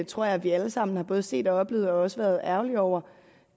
tror jeg vi alle sammen har både set og oplevet og også været ærgerlige over